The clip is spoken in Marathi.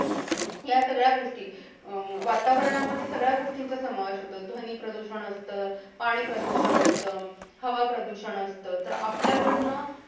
यासगळ्या गोष्टी अं वातावरणामध्ये सगळ्या गोष्टींचा समावेश होतो ध्वनी प्रदूषण असत पाणी प्रदूषण असत हवा प्रदूषण असत तर आपल्याकडंना